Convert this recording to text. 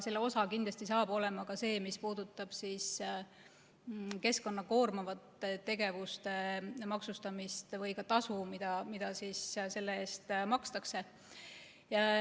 Selle osa on kindlasti ka see, mis puudutab keskkonda koormavate tegevuste maksustamist või ka tasu, mida selle eest makstakse.